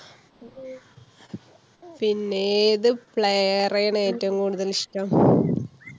പിന്നെ~ ഏതു player ആണ് ഏറ്റവും കൂടുതൽ ഇഷ്ടം?